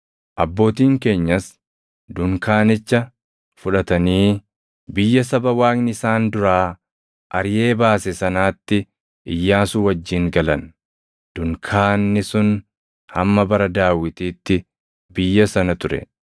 Abbootiin keenyas dunkaanicha fudhatanii biyya saba Waaqni isaan duraa ariʼee baase sanaatti Iyyaasuu wajjin galan; dunkaanni sun hamma bara Daawitiitti biyya sana ture.